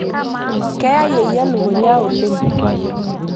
keya yeyio elukunya oleng